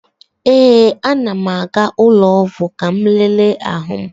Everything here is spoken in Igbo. Ee, a na m aga ụlọ ọgwụ ka m lele ahụ m.